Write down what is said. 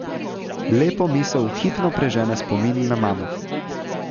Lepo misel hipno prežene spomin na mamo.